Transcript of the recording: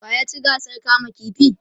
wa ya ci gasar kama ƙifi?